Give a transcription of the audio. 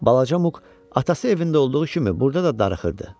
Balaca Muq atası evində olduğu kimi burda da darıxırdı.